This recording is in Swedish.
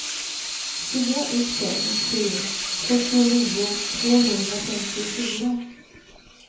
fyra ett fem sju fyrtionio tvåhundrafemtiofyra